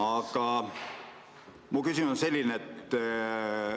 Aga mu küsimus on selline.